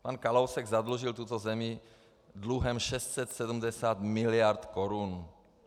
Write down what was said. Pan Kalousek zadlužil tuto zemi dluhem 670 miliard korun.